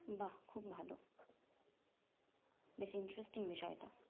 বা খুব ভালো বেশ interesting বিষয়টা